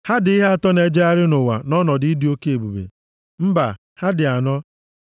“Ha dị ihe atọ na-ejegharị nʼụwa nʼọnọdụ ịdị oke ebube, mbaa, ha dị anọ: